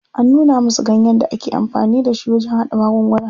An nuna musu ganyen da ake amfani da shi wajen haɗa magunguna.